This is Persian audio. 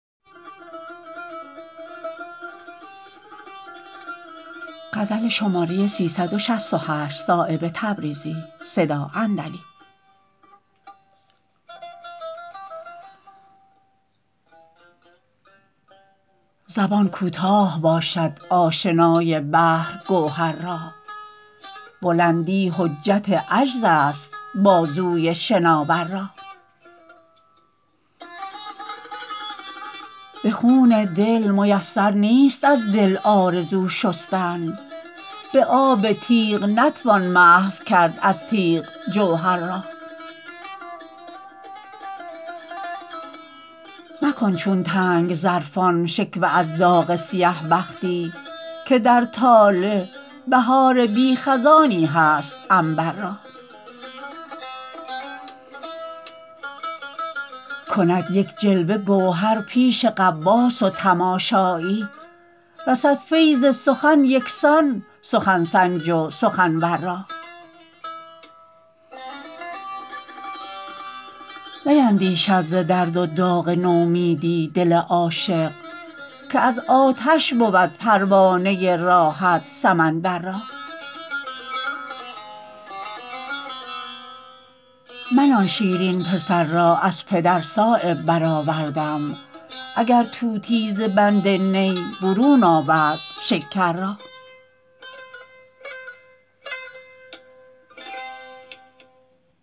زبان کوتاه باشد آشنای بحر گوهر را بلندی حجت عجزست بازوی شناور را به خون دل میسر نیست از دل آرزو شستن به آب تیغ نتوان محو کرد از تیغ جوهر را مکن چون تنگ ظرفان شکوه از داغ سیه بختی که در طالع بهار بی خزانی هست عنبر را کند یک جلوه گوهر پیش غواص و تماشایی رسد فیض سخن یکسان سخن سنج و سخنور را نیندیشد ز درد و داغ نومیدی دل عاشق که از آتش بود پروانه راحت سمندر را من آن شیرین پسر را از پدر صایب برآوردم اگر طوطی ز بند نی برون آورد شکر را